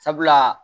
Sabula